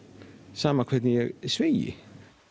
sama hvernig ég sveigi